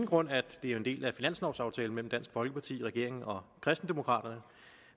grund at det er en del af finanslovaftalen mellem dansk folkeparti regeringen og kristendemokraterne